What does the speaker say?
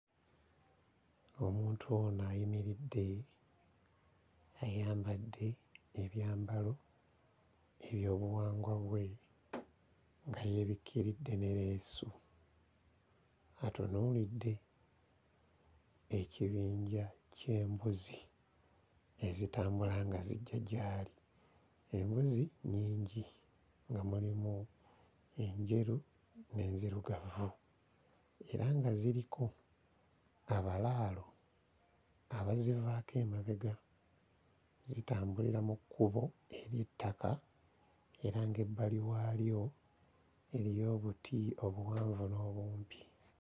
Omuntu ono ayimiridde ayambadde ebyambalo eby'obuwangwa bwe nga yeebirkiridde ne leesu, atunuulidde ekibinja ky'embuzi ezitambula nga zijja gyali, embuzi nnyingi nga mulimu enjeru n'enzirugavu era nga ziriko abalalao abazivaako emabega, zitambulira mu kkubo ery'ettaka era ng'ebbali waalyo eriyo obuti obuwanvu n'obumpi.